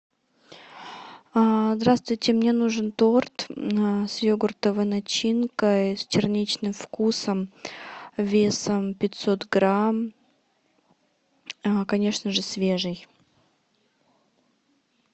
здравствуйте мне нужен торт с йогуртовой начинкой с черничным вкусом весом пятьсот грамм конечно же свежий